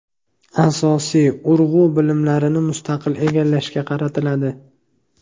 Asosiy urg‘u bilimlarni mustaqil egallashga qaratiladi.